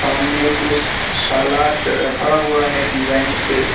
सामने कुछ सालाड रखा हुआ है डिजाइन से।